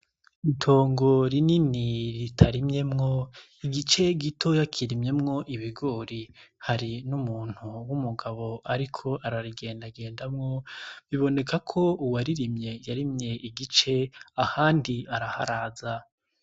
Itongo rinini ritarimyemwo igice gitoya kirimyemwo ibigori hari n'umuntu w'umugabo, ariko ararigendagendamwo biboneka ko uwaririmye yarimye igice ahandi araharaza.